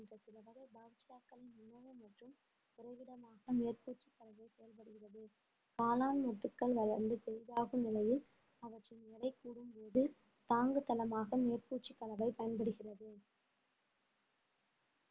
மேற்பூச்சு கலவை செயல்படுகிறது காளான் மொட்டுக்கள் வளர்ந்து பெரிதாகும் நிலையில் அவற்றின் எடை கூடும்போது தாங்குத்தளமாக மேற்பூச்சு கலவை பயன்படுகிறது